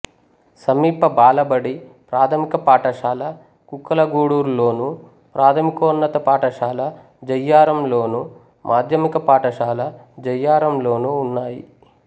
సమీప బాలబడి ప్రాథమిక పాఠశాల కుక్కలగూడూర్లోను ప్రాథమికోన్నత పాఠశాల జయ్యారంలోను మాధ్యమిక పాఠశాల జయ్యారంలోనూ ఉన్నాయి